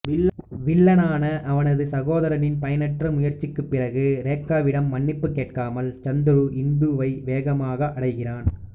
வில்லனான அவனது சகோதரனின் பயனற்ற முயற்சிக்குப் பிறகு ரேகாவிடம் மன்னிப்பு கேட்காமல் சந்திரு இந்துவை வேகமாக அடைகிறான்